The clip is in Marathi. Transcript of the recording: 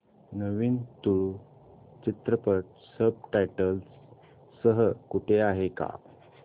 नवीन तुळू चित्रपट सब टायटल्स सह कुठे आहे का